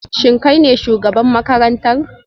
Shin kai ne shugaban makarantar?